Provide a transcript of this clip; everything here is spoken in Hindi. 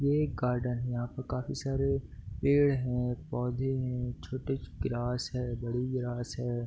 ये एक गार्डन है यहाँ पे काफ़ी सारे पेड़ हैं पौधे हैं छोटी ग्रास है बड़ी ग्रास है।